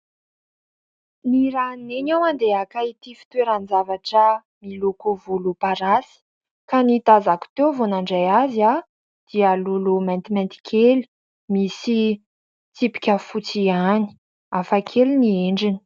Nirahan'i neny aho andeha haka ity fitoeran- javatra miloko volom-parasy ka ny tazako teo vao nandray azy aho dia lolo maintimainty kely, misy tsipika fotsy ihany hafa kely ny endriny.